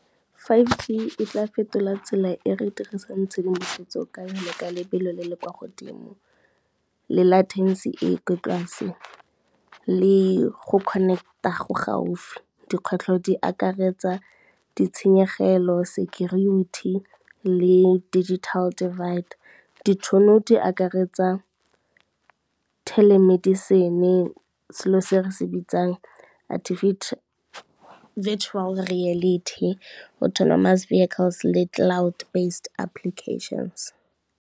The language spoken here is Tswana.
five G e tla fetola tsela e re dirisang tshedimosetso ka yone ka lebelo le le kwa godimo, le e kwa tlase le go connect-a go gaufi. Dikgwetlho di akaretsa ditshenyegelo, security le digital divider, ditšhono di akaretsa telemedicine selo se re se bitsang virtual reality, autonomous vehicles le cloud based applications.